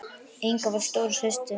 Inga var stóra systir mín.